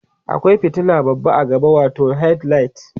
akwai fitila babba a gaba watau headlight